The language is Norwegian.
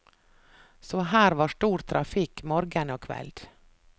Så her var stor trafikk morgen og kveld.